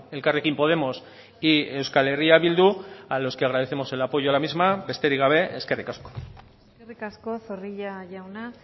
elkarrekin podemos y euskal herria bildu a los que agradecemos el apoyo a la misma besterik gabe eskerrik asko eskerrik asko zorrilla jauna